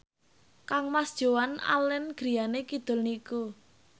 kangmas Joan Allen griyane kidul niku